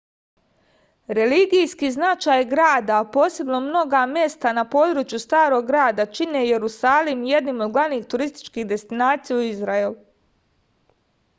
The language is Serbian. religijski značaj grada a posebno mnoga mesta na području starog grada čine jerusalim jednim od glavnih turističkih destinacija u izraelu